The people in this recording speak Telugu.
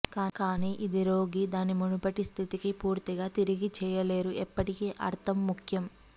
కానీ ఇది రోగి దాని మునుపటి స్థితికి పూర్తిగా తిరిగి చెయ్యలేరు ఎప్పటికీ అర్థం ముఖ్యం